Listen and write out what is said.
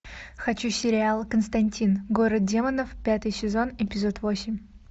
хочу сериал константин город демонов пятый сезон эпизод восемь